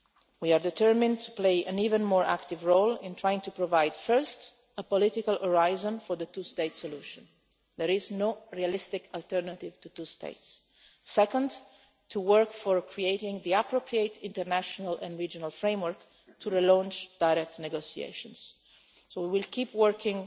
We are determined to play an even more active role in trying to provide, first, a political horizon for the two state solution there is no realistic alternative to two states and, second, to work to create the appropriate international and regional framework to relaunch direct negotiations. So we will keep working.